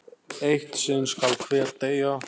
Eitt sinn skal hver deyja!